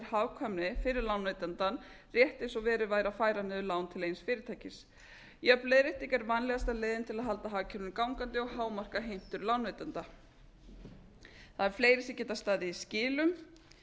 hagkvæmni fyrir lánveitandann rétt eins og verið væri að færa niður lán til eins fyrirtækis jöfn leiðrétting er vænlegasta leiðin til þess að halda hagkerfinu gangandi og hámarka heimtur lánveitenda það eru fleiri sem geta staðið í skilum